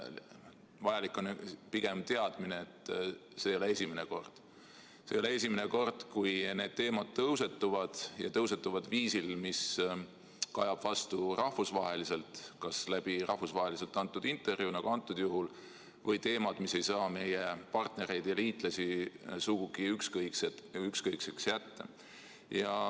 Vajalik on pigem teadmine, et see ei ole esimene kord, kui need teemad tõusetuvad ja seda viisil, mis kajab vastu rahvusvaheliselt – kas rahvusvaheliselt antud intervjuu tõttu, nagu praegusel juhul, või teemade kaudu, mis ei saa meie partnereid ja liitlasi sugugi ükskõikseks jätta.